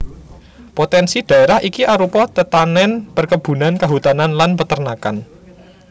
Potènsi dhaérah iki arupa tetanèn perkebunan kahutanan lan peternakan